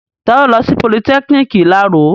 Ta ló lọ sí politẹ́kiniki ìláro?